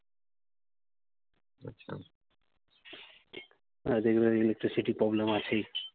এদিকে আবার electricity problem আছেই।